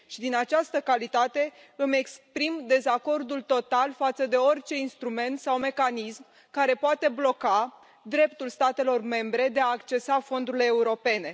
Și din această calitate, îmi exprim dezacordul total față de orice instrument sau mecanism care poate bloca dreptul statelor membre de a accesa fondurile europene.